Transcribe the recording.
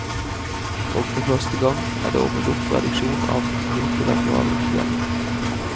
Og for første gang er det åpnet opp for reduksjon av multilateral gjeld.